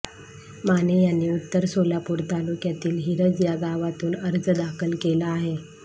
माने यांनी उत्तर सोलापूर तालुक्यातील हिरज या गावातून अर्ज दाखल केला आहे